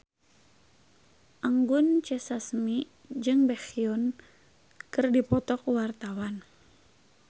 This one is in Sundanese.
Anggun C. Sasmi jeung Baekhyun keur dipoto ku wartawan